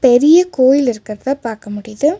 பெரிய கோயில் இருக்கறத பாக்க முடிது.